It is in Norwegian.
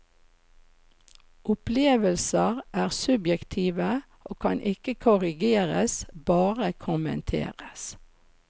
Opplevelser er subjektive og kan ikke korrigeres, bare kommenteres.